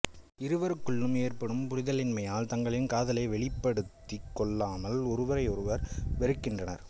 இருவருக்குள்ளும் ஏற்படும் புரிதலின்மையால் தங்களின் காதலை வெளிப்படுத்திக்கொள்ளாமல் ஒருவரையொருவர் வெறுக்கின்றனர்